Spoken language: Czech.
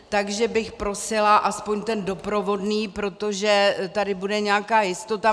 Takže bych prosila aspoň ten doprovodný, protože tady bude nějaká jistota.